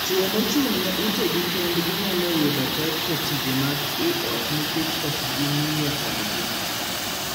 Chwo mochung' ne utegi kendgi nyalo yudo pek e tije mag ii ot nikech ok ging'iyo kodgi.